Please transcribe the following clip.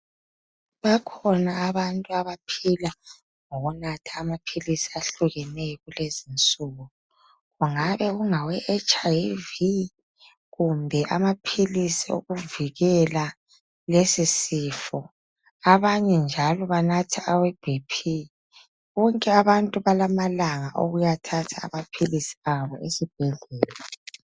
Bakhona bantu abaphila ngokunatha maphilisi ahlukeneyo kulezinsuku kungabe kungaweHIV kumbe amaphilisi awokuvikela lesisifo. Abanye njalo banatha aweBP. Bonke abantu balamalanga okuyathatha amaphilisi abo esibhedlela.